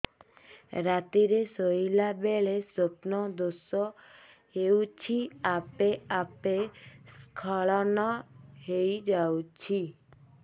ରାତିରେ ଶୋଇଲା ବେଳେ ସ୍ବପ୍ନ ଦୋଷ ହେଉଛି ଆପେ ଆପେ ସ୍ଖଳନ ହେଇଯାଉଛି